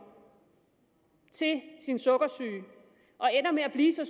til sin sukkersyge og ender med at blive så